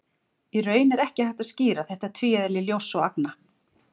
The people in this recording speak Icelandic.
Í raun er ekki hægt að skýra þetta tvíeðli ljóss og agna.